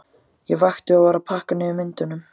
Ég vakti og var að pakka niður myndunum.